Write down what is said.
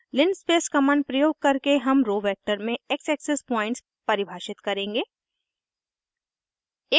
linspace linspace command प्रयोग करके हम रो वेक्टर में x एक्सिस पॉइंट्स परिभाषित करेंगे